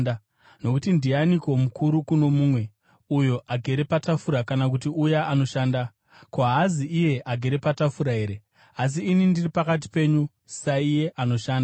Nokuti ndianiko mukuru kuno mumwe, uyo agere patafura kana kuti uya anoshanda? Ko, haazi iye agere patafura here? Asi ini ndiri pakati penyu saiye anoshanda.